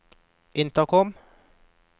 intercom